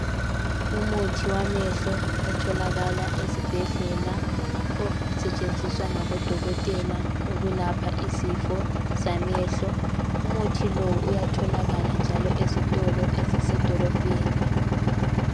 Umuthi wamehlo otholakala ezibhedlela zabantu abagula amehlo , umuthi lo uyatholakala njalo ezitolo ezisemadolobheni.